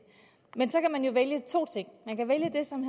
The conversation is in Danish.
men så kan man jo vælge to ting man kan vælge det som